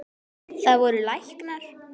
Það voru læknar.